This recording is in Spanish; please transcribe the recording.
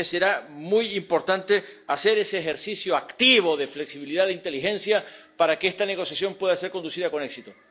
De modo que será muy importante hacer ese ejercicio activo de flexibilidad, de inteligencia, para que esta negociación pueda ser conducida con éxito.